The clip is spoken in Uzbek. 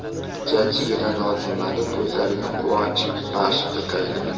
Jajjigina Nozimaning ko‘zlariga quvonch baxsh etaylik!.